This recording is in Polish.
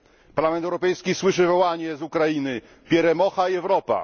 Parlament Europejski słyszy wołanie z Ukrainy Pieremocha Jewropa!